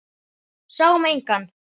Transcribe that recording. Sáum engan.